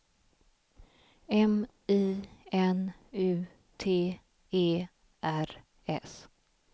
M I N U T E R S